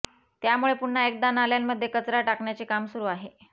त्यामुळे पुन्हा एकदा नाल्यांमध्ये कचरा टाकण्याचे काम सुरू आहे